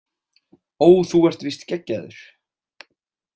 Ó þú ert víst geggjaður